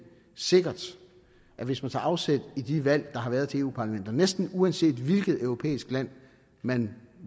sikkert at hvis man tager afsæt i de valg der har været til europa parlamentet næsten uanset hvilket europæisk land man